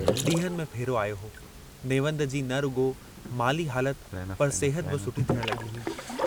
डींहंनि में फेरो आयो हो, नेवंद जी न रुगो, माली हालत पर सेहत बि सुठी थियण लगी हुई।